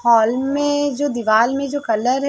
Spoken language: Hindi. हॉल मे जो दीवाल में जो कलर है।